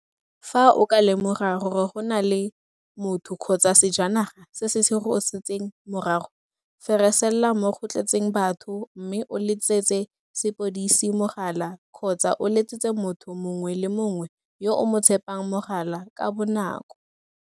Fa o ka lemoga gore go na le motho kgotsa sejanaga se se go setseng morago, feresella mo go tletseng batho mme o letsetse sepodisi mogala kgotsa o letsetse motho mongwe le mongwe yo o mo tshepang mogala ka bonako.